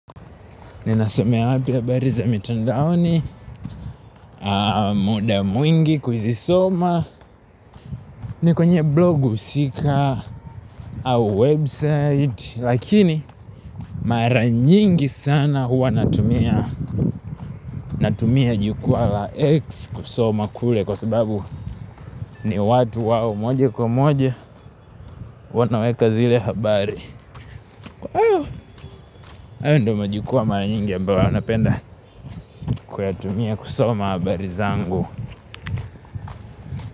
Ninasomea hapa habari mitandaoni muda mwingi kuzisoma ni kwenye blogu au website, lakini mara nyingi sana huwa natumia jukwaa la X kusoma kule kwa sababu Ndio watu wawe moja kwa moja. Wanaweka zile habari hayo ndiyo majukwaa ambayo mara nyingi napenda kuyatumia kusoma habari zangu.